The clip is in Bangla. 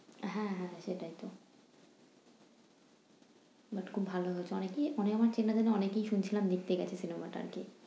হ্যাঁ হ্যাঁ সেটাইতো but খুব ভালো হয়েছে। অনেকেই অনেক আমার চেনা জানা অনেকেই শুনছিলাম দেখতে গেছে cinema টা আরকি।